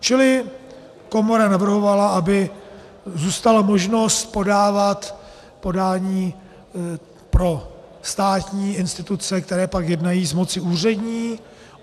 Čili komora navrhovala, aby zůstala možnost podávat podání pro státní instituce, které pak jednají z moci úřední.